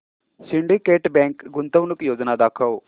Syndicate bank गुंतवणूक योजना दाखव